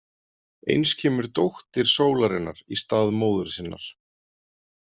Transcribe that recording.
Eins kemur dóttir sólarinnar í stað móður sinnar.